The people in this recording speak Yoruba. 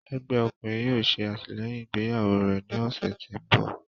Ẹgbẹ ọkunrin yóò ṣe atilẹyin igbeyawo rẹ ni ọsẹ ti n bọ.